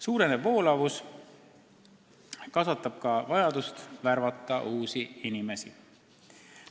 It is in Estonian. Suurenev voolavus kasvatab ka vajadust värvata uusi inimesi.